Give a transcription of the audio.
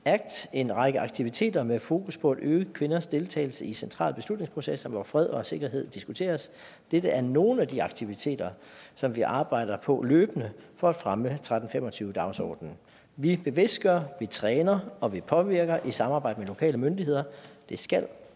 en række aktiviteter med fokus på at øge kvinders deltagelse i centrale beslutningsprocesser hvor fred og sikkerhed diskuteres dette er nogle af de aktiviteter som vi arbejder på løbende for at fremme tretten fem og tyve dagsordenen vi bevidstgør vi træner og vi påvirker i samarbejde med lokale myndigheder det skal